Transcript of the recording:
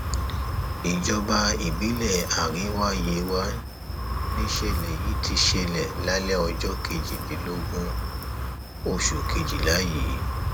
ìjọba ìbílẹ àríwá yewa nìṣẹlẹ yìí ti ṣẹlẹ lálẹ ọjọ kejìdínlógún oṣù kejìlá yìí